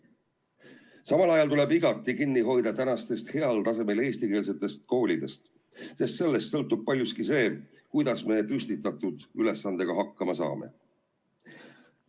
Samal ajal tuleb igati kinni hoida tänastest heal tasemel eestikeelsetest koolidest, sest sellest sõltub paljuski see, kuidas me püstitatud ülesandega hakkama saame.